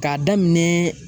K'a daminɛ